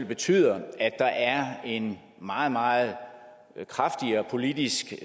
betyder at der er en meget meget kraftigere politisk